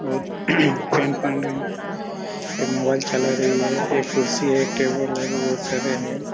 बहुत ये मोबाइल चला रही हैं एक कुर्सी हैं एक टेबल हैं और बहुत सारे हैं।